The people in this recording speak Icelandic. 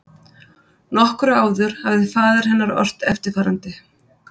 Nokkru áður hafði faðir hennar ort eftirfarandi